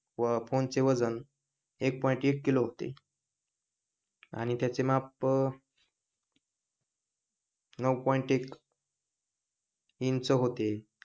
व फोन चे वजन एक पॉईंट एक किलो होते आणि त्याचे माप नऊ पॉईंट एक इंच होते